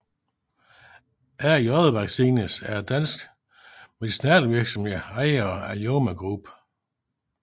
AJ Vaccines er en dansk medicinalvirksomhed ejet af Aljomaih Group